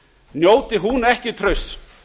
njóti hún ekki trausts